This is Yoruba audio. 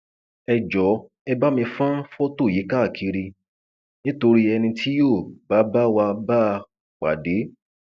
ẹ jọọ ẹ bá mi fọn fọtò yìí káàkiri nítorí ẹni tí yóò bá bá wa bá a pàdé